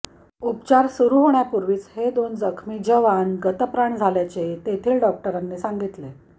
उपचार सुरू होण्यापूर्वीच हे दोन जखमी जवान गतप्राण झाल्याचे तेथील डॉक्टरांनी सांगितले